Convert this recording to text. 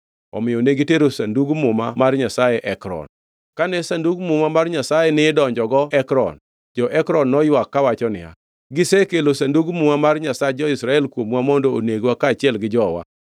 Omiyo ne gitero Sandug Muma mar Nyasaye Ekron. Kane Sandug Muma mar Nyasaye nidonjogo Ekron, jo-Ekron noywak kawacho niya, “Gisekelo Sandug Muma mar Nyasach jo-Israel kuomwa mondo onegwa kaachiel gi jowa.”